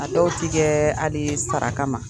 A dɔw tigɛ hali sara kama.